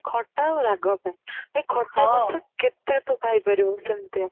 ଖାଲି ଖଟା ଆଉ ରାଗ ପାଇଁ ଖଟା ଜିନିଷ କେତେ ତୁ ଖାଇ ପାରିବୁ ସେମିତିଆ